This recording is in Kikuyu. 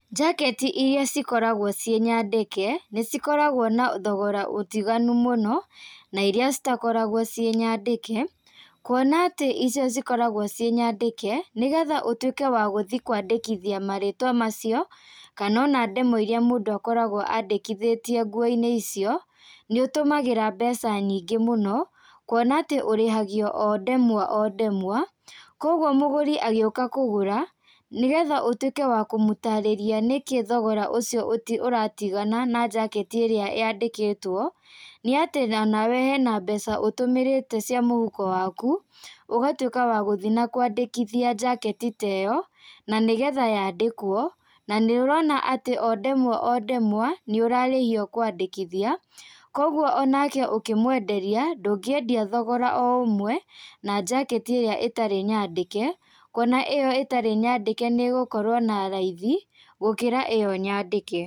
Njaketi iria cikoragwo ciĩ nyandĩke, nĩcikoragwo na thogora ũtiganu mũno, nairia citakoragwo ciĩ nyandĩke, kuona atĩ icio cikoragwo ciĩ nyandĩke nĩgetha ũtwĩke wa guthiĩ kũandĩkithia marĩtwa macio, kanona ndemwa iria mũndũ akoragwo andĩkithĩtie nguo-inĩ icio, nĩũtũmagĩra mbeca nyingĩ mũno, kuona atĩ ũrĩhagio o ndemwa o ndemwa, koguo mũgũri agĩũka kũgũra, nĩgetha ũtwĩke wa kũmũtarĩria, nĩkĩĩ thogora ucio ũti ũratigana na njaketi ĩrĩa yandĩkĩtwo, nĩatĩ tha hena mbeca ũtũmĩrĩte cia mũhuko waku, ũgatwĩka wa gũthii na kwandĩkithia njaketi teyo, nanĩgetha yandĩkwo, nanĩũrona atĩ o ndemwa o ndemwa, nĩũrarĩhio kwandĩkithia, koguo onake ũkĩmwenderia, ndũngĩendia thogora o ũmwe, na njaketi ĩrĩa ĩtarĩ nyandĩke, kuona ĩyo ĩtarĩ nyandĩke nĩgũkorwo na raithi, gũkĩra ĩyo nyandĩke.